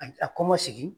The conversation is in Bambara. A kɔma sigi